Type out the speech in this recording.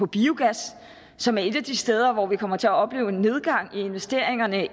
biogas som er et af de steder hvor vi kommer til at opleve en nedgang i investeringerne